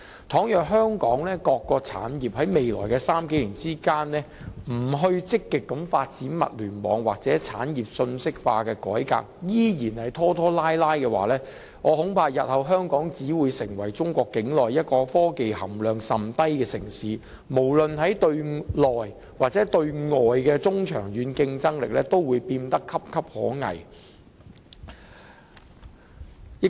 倘若香港各個產業在未來數年不積極發展物聯網或產業信息化的改革，依然拖拖拉拉，我恐怕日後香港只會成為中國境內一個科技含量甚低的城市，無論是對內或對外的中長期競爭力都會變得岌岌可危。